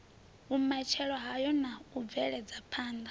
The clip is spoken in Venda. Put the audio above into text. vhumatshelo hayo na u bvelaphanda